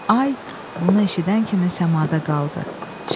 Ay bunu eşidən kimi səmada qaldı.